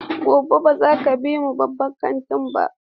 Gobe ​​baza ka bi mu babban kantin ba!